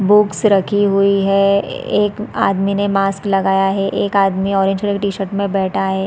Books रखी हुई है एक आदमी ने मास्क लगाया है एक आदमी ऑरेंज कलर की टीशर्ट में बैठा है।